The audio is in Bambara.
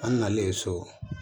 An nalen so